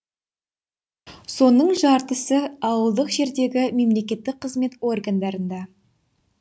соның жартысы ауылдық жердегі мемлекеттік қызмет органдарында